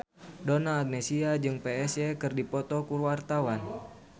Donna Agnesia jeung Psy keur dipoto ku wartawan